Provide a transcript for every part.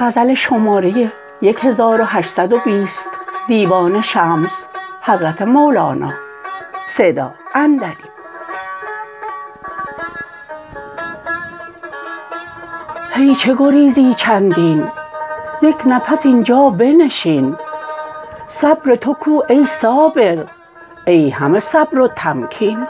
هی چه گریزی چندین یک نفس این جا بنشین صبر تو کو ای صابر ای همه صبر و تمکین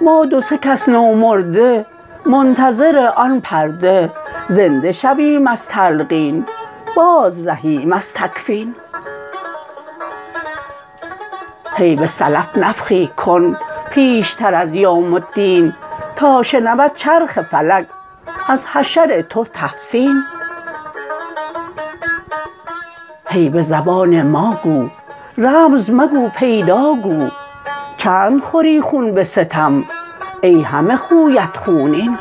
ما دو سه کس نو مرده منتظر آن پرده زنده شویم از تلقین بازرهیم از تکفین هی به سلف نفخی کن پیشتر از یوم الدین تا شنود چرخ فلک از حشر تو تحسین هی به زبان ما گو رمز مگو پیدا گو چند خوری خون به ستم ای همه خویت خونین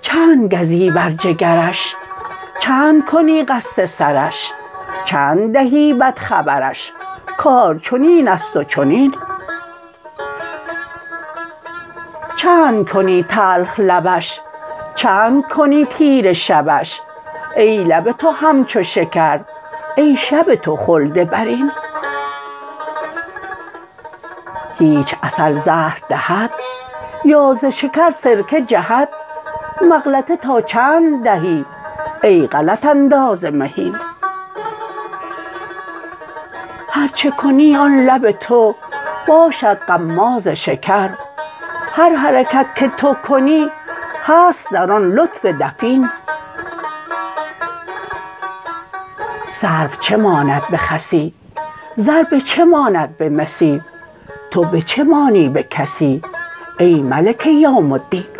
چند گزی بر جگرش چند کنی قصد سرش چند دهی بد خبرش کار چنین است و چنین چند کنی تلخ لبش چند کنی تیره شبش ای لب تو همچو شکر ای شب تو خلد برین هیچ عسل زهر دهد یا ز شکر سرکه جهد مغلطه تا چند دهی ای غلط انداز مهین هر چه کنی آن لب تو باشد غماز شکر هر حرکت که تو کنی هست در آن لطف دفین سرو چه ماند به خسی زر به چه ماند به مسی تو به چه مانی به کسی ای ملک یوم الدین